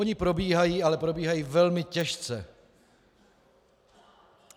Ony probíhají, ale probíhají velmi těžce.